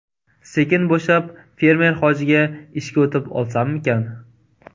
Sekin bo‘shab, fermer hojiga ishga o‘tib olsammikan.